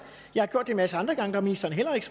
har gjort det en masse andre gange hvor ministeren heller ikke